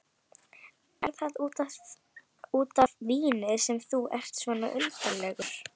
Er það út af víni sem þú ert svona undarlegur?